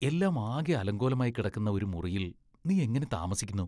എല്ലാം ആകെ അലങ്കോലമായി കിടക്കുന്ന ഒരു മുറിയിൽ നീ എങ്ങനെ താമസിക്കുന്നു?